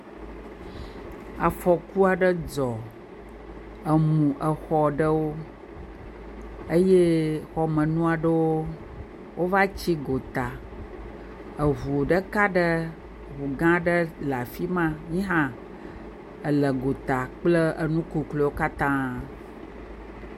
Afɔku aɖe dzɔ emu xɔ aɖewo eye xɔmenu aɖewo va tsi gota. Ŋu ɖeka aɖe, ŋu gã aɖe le afi ma, yehã ele gota kpakple nu kukluwo katã.